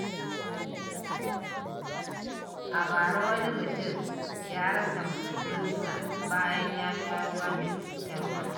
A bara, wani mutum ya rasa muzurunsa bayan ya sha ruwa mai cutarwa.